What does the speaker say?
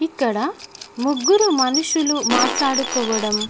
ఇక్కడ ముగ్గురు మనుసులు మాట్లాడుకోవడం--